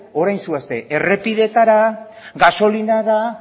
orain zoazte errepideetara gasolinara